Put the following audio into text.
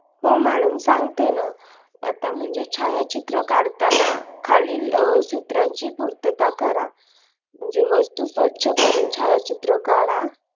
हो madam सांगते ना आता म्हणजे छायाचित्र काढताना खालील सूत्रांची पूर्तता करा म्हणजे वस्तू स्वच्छ करून छायाचित्र काढा